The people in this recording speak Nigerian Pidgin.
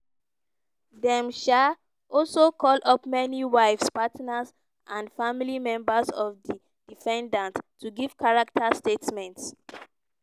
dem um also call up many wives partners and family members of di defendants to give character statements.